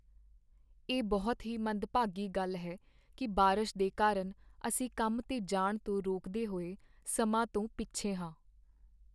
ਇਹ ਬਹੁਤ ਹੀ ਮੰਦਭਾਗੀ ਗੱਲ ਹੈ ਕਿ ਬਾਰਸ਼ ਦੇ ਕਾਰਨ ਅਸੀਂ ਕੰਮ 'ਤੇ ਜਾਣ ਤੋਂ ਰੋਕਦੇ ਹੋਏ ਸਮਾਂ ਤੋਂ ਪਿੱਛੇ ਹਾਂ।